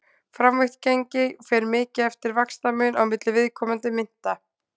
Framvirkt gengi fer mikið eftir vaxtamun á milli viðkomandi mynta.